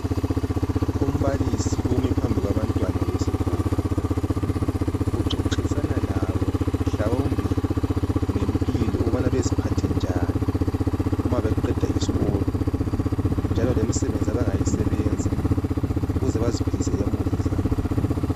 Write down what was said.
Umbalisi umi phambili kwabantwana besikolo uxoxisana labo mhawumbe ngempilo ukuba beziphathe njani uma beqeda isikolo njalo lemisebenzi asebe ngayisebenza ukuba beziphilise lemuli zabo.